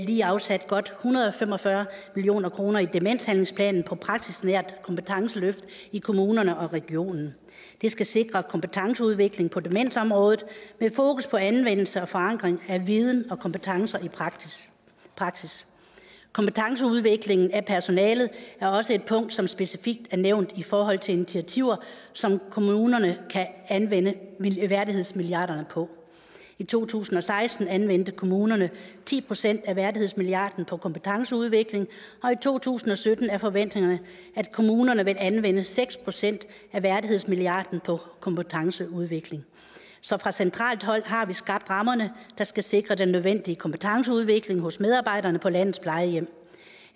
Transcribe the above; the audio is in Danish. lige afsat godt hundrede og fem og fyrre million kroner i demenshandlingsplanen til praksisnære kompetenceløft i kommunerne og regionerne det skal sikre en kompetenceudvikling på demensområdet med fokus på anvendelse og forankring af viden og kompetence i praksis kompetenceudviklingen af personalet er også et punkt som specifikt er nævnt i forhold til initiativer som kommunerne kan anvende værdighedsmilliarden på i to tusind og seksten anvendte kommunerne ti procent af værdighedsmilliarden på kompetenceudvikling og i to tusind og sytten er forventningerne at kommunerne vil anvende seks procent af værdighedsmilliarden på kompetenceudvikling så fra centralt hold har vi skabt rammerne der skal sikre den nødvendige kompetenceudvikling hos medarbejderne på landets plejehjem